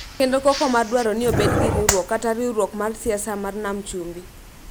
kendo koko mar dwaro ni obed gi riwruok kata riwruok mar siasa mar Nam Chumbi,